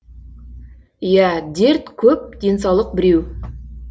иә дерт көп денсаулық біреу